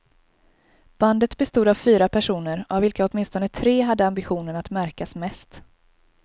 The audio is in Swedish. Bandet bestod av fyra personer, av vilka åtminstone tre hade ambitionen att märkas mest.